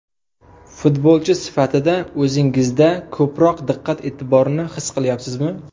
Futbolchi sifatida o‘zingizda ko‘proq diqqat-e’tiborni his qilyapsizmi?